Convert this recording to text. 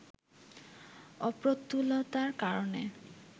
অপ্রতুলতার কারণে